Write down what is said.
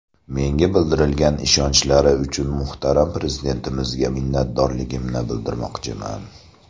Menga bildirgan ishonchlari uchun muhtaram Prezidentimizga minnatdorligimni bildirmoqchiman.